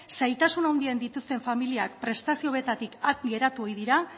zailtasun handiak dituzten familiak prestazio hauetatik at geratu ohi dira